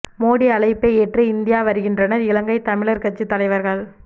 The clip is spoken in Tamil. மோடி அழைப்பை ஏற்று இந்தியா வருகின்றனர் இலங்கை தமிழர் கட்சி தலைவர்கள்